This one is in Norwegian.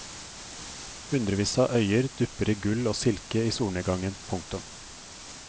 Hundrevis av øyer dupper i gull og silke i solnedgangen. punktum